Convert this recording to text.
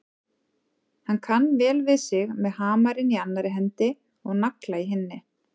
Hann kann vel við sig með hamarinn í annarri hendi og nagla í hinni.